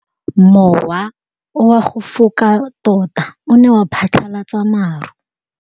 Mowa o wa go foka tota o ne wa phatlalatsa maru.